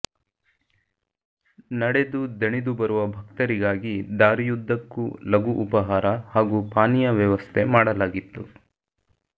ನಡೆದು ದಣಿದು ಬರುವ ಭಕ್ತರಿಗಾಗಿ ದಾರಿಯುದ್ದಕ್ಕೂ ಲಘು ಉಪಹಾರ ಹಾಗೂ ಪಾನೀಯ ವ್ಯವಸ್ಥೆ ಮಾಡಲಾಗಿತ್ತು